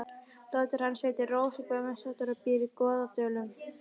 Dóttir hans heitir Rósa Guðmundsdóttir og býr í Goðdölum.